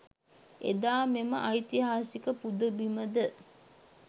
එදා මෙම ඓතිහාසික පුදබිම ද